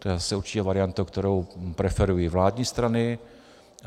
To je zase určitě varianta, kterou preferují vládní strany.